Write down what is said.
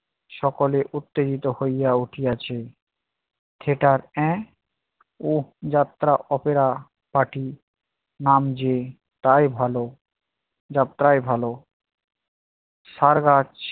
সকলে উত্তেজিত হইয়া উঠিয়াছে, সেটার এহ উঁহ যাত্রা opera party নাম যে তাই ভালো যাত্রাই ভালো sir আজ